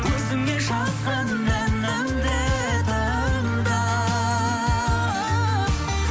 өзіңе жазған әнімді тыңда